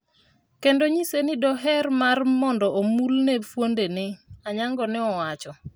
kendo nyise ni doher mar mondo omul ne fuonde ne",Anyango ne owacho.